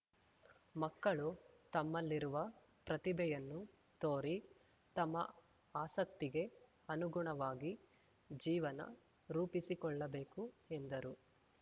ಮಕ್ಕಳು ತಮ್ಮಲ್ಲಿರುವ ಪ್ರತಿಭೆಯನ್ನು ತೋರಿ ತಮ್ಮ ಆಸಕ್ತಿಗೆ ಅನುಗುಣವಾಗಿ ಜೀವನ ರೂಪಿಸಿಕೊಳ್ಳಬೇಕು ಎಂದರು